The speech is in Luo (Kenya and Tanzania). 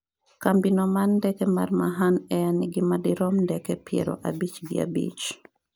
kambi no mar ndeke mar Mahan Air nigi madirom ndeke piero abich gi abich